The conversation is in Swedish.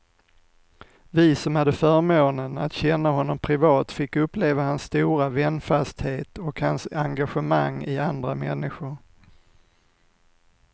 Vi som hade förmånen att känna honom privat fick uppleva hans stora vänfasthet och hans engagemang i andra människor.